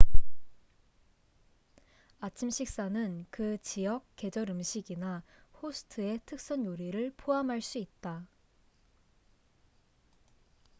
아침 식사는 그 지역 계절 음식이나 호스트의 특선 요리를 포함할 수 있다